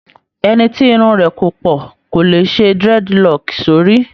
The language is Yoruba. Ẹni tí irun rẹ̀ kò pọ̀ kò le ṣe dreadlock sórí